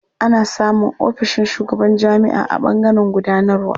Ana samun ofishin shugaban jami'a a ɓangaren gudanarwa.